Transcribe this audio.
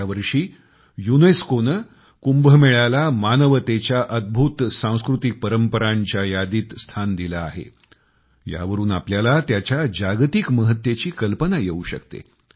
गेल्या वर्षी युनेस्कोने कुंभमेळ्याला मानवतेच्या अद्भुत सांस्कृतिक परंपरांच्या यादीत स्थान दिलं आहे यावरुन आपल्याला त्याच्या जागतिक महत्तेची कल्पना येऊ शकते